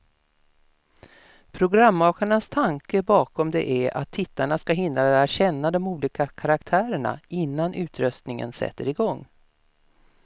Programmakarnas tanke bakom det är att tittarna ska hinna lära känna de olika karaktärerna, innan utröstningen sätter igång.